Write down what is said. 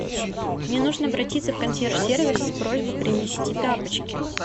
мне нужно обратиться в консьерж сервис с просьбой принести тапочки